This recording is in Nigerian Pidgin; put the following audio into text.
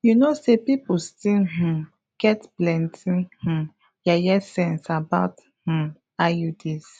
you know say people still um get plenty um yeye sense about um iuds